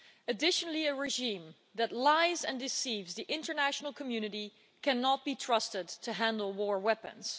Additionally, a regime that lies and deceives the international community cannot be trusted to handle war weapons.